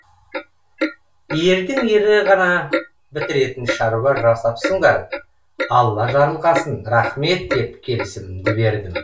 ердің ері ғана бітіретін шаруа жасапсыңдар алла жарылқасын рахмет деп келісімімді бердім